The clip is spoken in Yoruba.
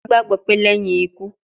Yoruba gbagbo pe leyin iku